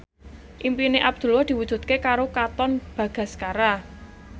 impine Abdullah diwujudke karo Katon Bagaskara